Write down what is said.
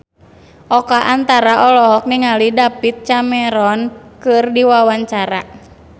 Oka Antara olohok ningali David Cameron keur diwawancara